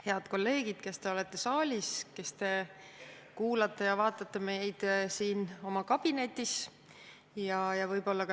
Head kolleegid, kes te olete saalis, kes te kuulate ja vaatate meid siin oma kabinetis!